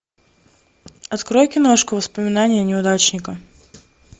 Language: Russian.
открой киношку воспоминания неудачника